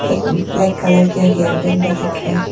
एक black colour के hairband भी दिख रहे--